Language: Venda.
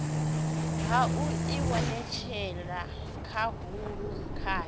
ha u ivhonetshela khahulo kwayo